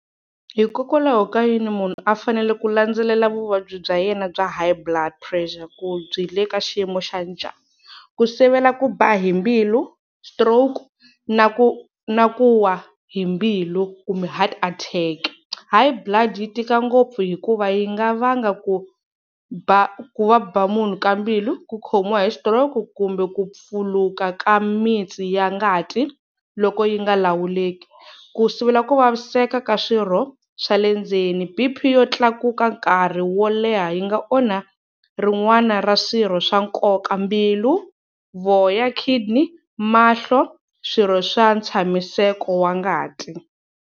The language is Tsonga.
Hikokwalaho ka yini munhu a fanele ku landzelela vuvabyi bya yena bya High Blood Pressure ku byi le ka xiyimo xa njhani? Ku sivela ku ba hi mbilu, stroke na ku na ku wa hi mbilu kumbe heart attack. High Blood yi tika ngopfu hikuva yi nga vanga ku ba ku va ba munhu ka mbilu, ku khomiwa h xitiroki ku kumbe ku pfuluka ka mitsi ya ngati loko yi nga lawuleki. Ku sivela ku vaviseka ka swirho swa le ndzeni B_P yo tlakuka nkarhi wo leha yi nga onha rin'wana ra swirho swa nkoka, mbilu, voya, kidney, mahlo swirho swa tshamiseka wa ngati.